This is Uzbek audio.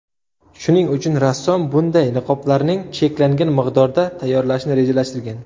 Shuning uchun rassom bunday niqoblarning cheklangan miqdorda tayyorlashni rejalashtirgan.